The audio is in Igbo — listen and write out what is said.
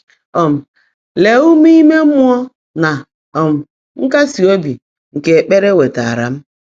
um Leè úmé íme mmụọ́ nà um nkásí óbí nkè ékpèré wèetàáárá m!”